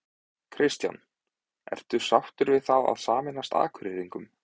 Kristján: Ertu sáttur við það að sameinast Akureyringum?